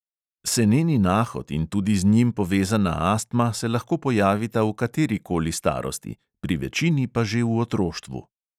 Seneni nahod in tudi z njim povezana astma se lahko pojavita v katerikoli starosti, pri večini pa že v otroštvu.